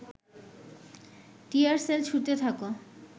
টিয়ার shell ছুড়তে থাক